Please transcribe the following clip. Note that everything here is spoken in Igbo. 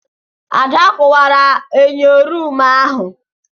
Ada kuwara enyo ruumu ahu.